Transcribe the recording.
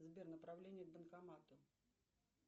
сбер направление к банкомату